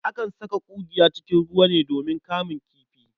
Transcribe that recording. Akan saka ƙungiya cikin ruwa ne domin kamun kifi.